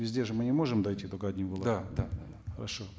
везде же мы не можем дать эту хорошо